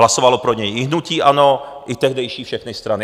Hlasovalo pro něj i hnutí ANO, i tehdejší všechny strany.